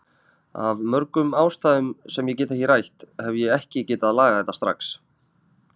Af mörgum ástæðum sem ég get ekki rætt, hef ég ekki getað lagað þetta strax.